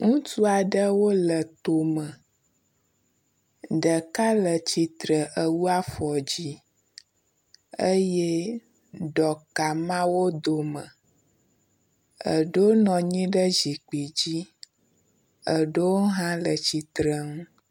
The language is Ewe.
Ŋutsu aɖewo le to mɔ. Ɖeka le tsitre ewu afɔ yi di eye ɖɔka ma wo dome. Eɖewo nɔ anyi ɖe zikpui dzi eɖewo hã le tsitre nu.